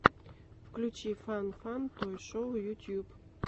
включи фан фан той шоу ютуб